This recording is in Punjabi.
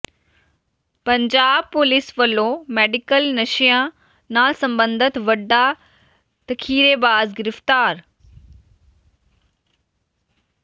ਪੰਜਾਬ ਪੁਲਿਸ ਵੱਲੋਂ ਮੈਡੀਕਲ ਨਸ਼ਿਆਂ ਨਾਲ ਸਬੰਧਤ ਵੱਡਾ ਜ਼ਖੀਰੇਬਾਜ਼ ਗ੍ਰਿਫ਼ਤਾਰ